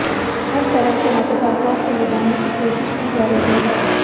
हर तरह से मतदाताओं को लुभाने की कोशिश की जा रही है